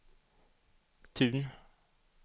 Tun